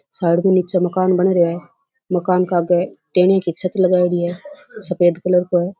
Side में नीचे मकान बन रेया है मकान के आगे टेनीया की छत लगायेड़ी है सफ़ेद कलर को है।